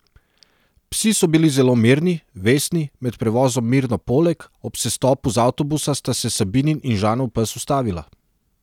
Psi so bili zelo mirni, vestni, med prevozom mirno poleg, ob sestopu z avtobusa sta se Sabinin in Žanov pes ustavila.